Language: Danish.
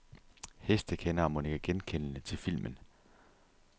Hestekendere må nikke genkendende til filmen.